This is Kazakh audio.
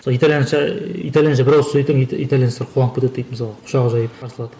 сол итальянша итальянша бір ауыз сөз айтсаң итальянецтер қуанып кетеді дейді мысалға құшақ жайып қарсы алады